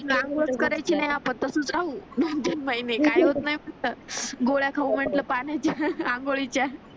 आंघोळ करायची नाही आपण तसच राहू नाही नाही काही होत नाही गोळ्या खाऊ म्हटल पाण्यानी आघोळीच्या